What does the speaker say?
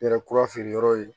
Yɛrɛ kura feere yɔrɔ ye